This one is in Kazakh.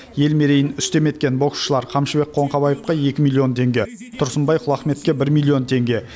ел мерейін үстем еткен боксшылар қамшыбек қоңқабаевқа екі миллион теңге тұрсынбай құлахметке бір миллион теңге